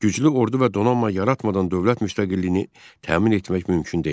Güclü ordu və donanma yaratmadan dövlət müstəqilliyini təmin etmək mümkün deyil.